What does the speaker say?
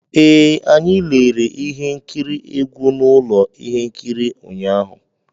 Ee, anyị lere ihe nkiri egwu na ụlọ ihe nkiri ụnyaahụ